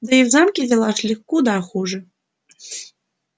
да и в замке дела шли куда хуже